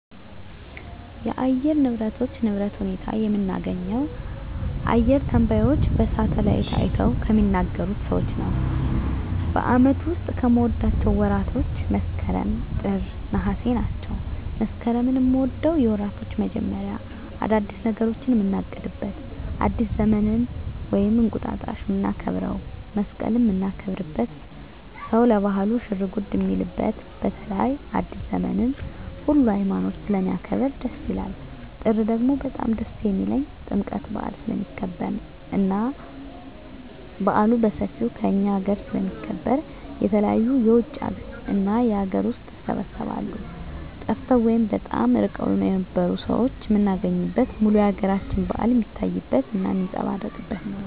የአየር ንብረቶች ንብረት ሁኔታ የምናገኘው አየረ ተነባዩች በሳሀትአላይት አይተው ከሚናገሩት ሰዎች ነው በአመቱ ዉስጥ ከምወዳቸው ወራቶች መስከረም ጥር ነሃሴ ናቸው መስከረምን ምወደው የወራቶች መጀመሪያ አዳዲስ ነገሮችን ምናቅድበት አዲስ ዘመንን ወይም እንቁጣጣሽ ምናከብረው መሰቀልን ምናከብርበት ሰው ለባህሉ ሽርጉድ ሚልበት በተለይ አዲሰ ዘመንን ሁሉ ሀይማኖት ስለሚያከብር ደስ ይላል ጥር ደግሞ በጣም ደስ የሚልኝ ጥምቀት በአል ስለሚከበር እና በአሉ በሠፌው ከእኛ አገረ ስለሚከበር የተለያዩ የውጭ እና የአገር ውስጥ ይሰባሰባሉ ጠፍተው ወይም በጣም እርቀዉን የነበሩ ሠዎች ምናገኝበት ሙሉ የአገራችን በአል ሜታይበት እና ሜጸባረቅበት ነው